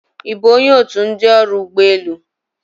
Ị bụ onye otu ndị ọrụ ụgbọ elu?